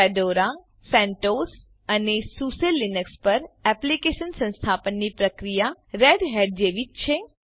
Fedora CentOS અને SUSE Linux પર Eclipse સંસ્થાપનની પ્રક્રિયા રેડહેટ જેવી જ છે